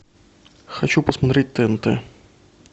хочу посмотреть тнт